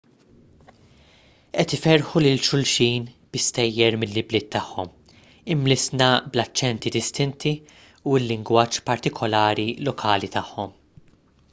qed iferrħu lil xulxin bi stejjer mill-ibliet tagħhom imlissna bl-aċċenti distinti u l-lingwaġġ partikulari lokali tagħhom